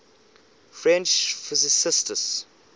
french physicists